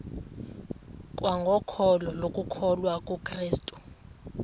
kwangokholo lokukholwa kukrestu